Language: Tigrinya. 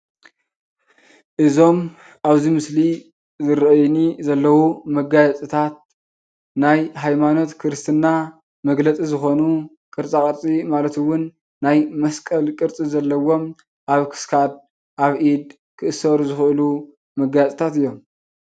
እዞም ኣብዚ ምስሊ ዝርአዩኒ ዘለዉ መጋየፅታት ናይ ሃይማኖት ክርስትና መግለፂ ዝኾኑ ቅርፃ ቅርፂ ማለት እዉን ናይ መስቀል ቅርፂ ዘለዎም ኣብ ክሳድ፣ ኣብ ኢድ ክእሰሩ ዝኽእሉ መጋየፅታት እዮም።